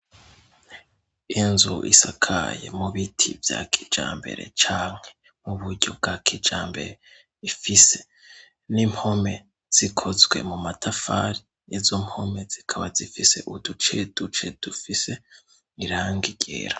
Inzu isakaye mu biti vya kijambere canke mu buryo bwa kijambere ifise n'impome zikozwe mu matafari izo mpome zikaba zifise uduce duce dufise irangi ryera.